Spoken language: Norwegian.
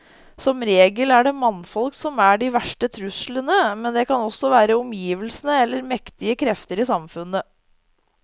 Som regel er det mannfolk som er de verste truslene, men det kan også være omgivelsene eller mektige krefter i samfunnet.